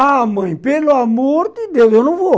Ah, mãe, pelo amor de Deus, eu não vou.